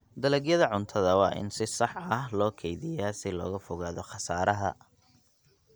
Dalagyada cuntada waa in si sax ah loo kaydiyaa si looga fogaado khasaaraha.